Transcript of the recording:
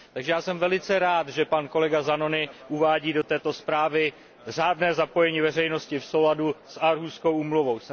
Takže já jsem velice rád, že pan kolega Zanoni uvádí do této zprávy řádné zapojení veřejnosti v souladu s Aarhuskou úmluvou.